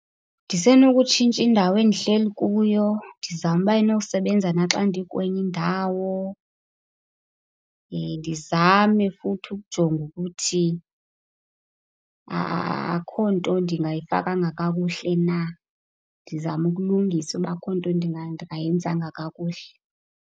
Ndisenokutshintsha indawo endihleli kuyo, ndizame ukuba ayinosebenza naxa ndikwenye indawo. ndizame futhi ukujonga ukuthi akukho nto ndingayifakanga kakuhle na, ndizame ukulungisa ukuba akukho nto ndingayenza kakuhle.